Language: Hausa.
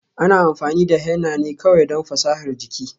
Ana amfani da henna ne kawai don fasahar jiki.